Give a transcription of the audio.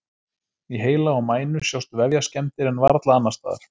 Í heila og mænu sjást vefjaskemmdir en varla annars staðar.